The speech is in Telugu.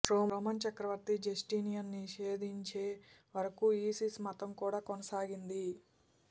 రోమన్ చక్రవర్తి జస్టీనియన్ నిషేధించే వరకూ ఈసిస్ మతం కూడా కొనసాగింది